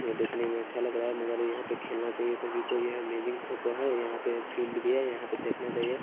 ये देखने में अच्छा लग रहा है मगर यहां पे खेलना चाहिए सभी को ये अमेजिंग फोटो है यहां पे फील्ड भी है यहां पे देखना चाहिए ।